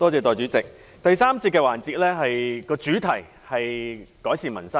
代理主席，第三個辯論環節的主題是"改善民生"。